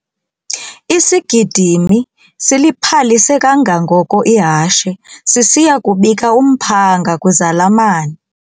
Isigidimi siliphalise kangangoko ihashe sisiya kubika umphanga kwizalamane.